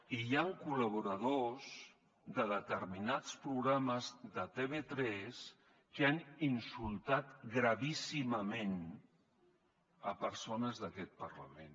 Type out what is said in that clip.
i hi han col·laboradors de determinats programes de tv3 que han insultat gravíssimament persones d’aquest parlament